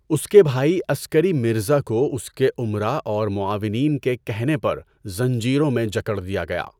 اس کے بھائی عسکری مرزا کو اس کے امرا اور معاونین کے کہنے پر زنجیروں میں جکڑ دیا گیا۔